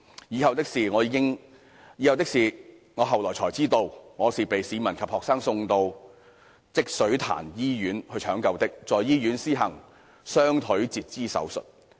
以後的事我後來才知道，我是被市民及學生送到積水潭醫院搶救的，在醫院施行雙腿截肢手術。